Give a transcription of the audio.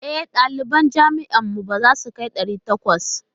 E, ɗaliban jami'ar mu ba za su kai ɗari takwas.